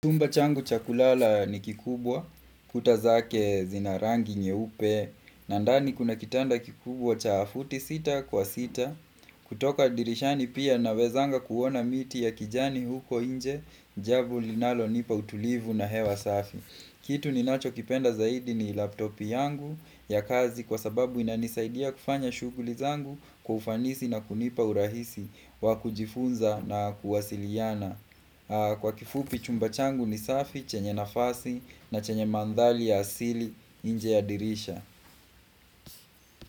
Chumba changu cha kulala ni kikubwa, kuta zake zina rangi nyeupe na ndani kuna kitanda kikubwa cha futi sita kwa sita kutoka dirishani pia nawezanga kuona miti ya kijani huko inje Jambo linalo nipa utulivu na hewa safi kitu ninacho kipenda zaidi ni laptop yangu ya kazi Kwa sababu inanisaidia kufanya shughuli zangu kwa ufanisi na kunipa urahisi wakujifunza na kuwasiliana Kwa kifupi chumba changu ni safi, chenye nafasi na chenye mandhali ya asili nje ya dirisha.